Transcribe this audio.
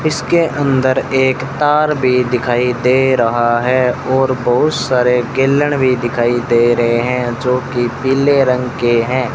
इसके अंदर एक तार भी दिखाई दे रहा है और बहुत सारे गैलन भी दिखाई दे रहे हैं जो कि पीले रंग के हैं।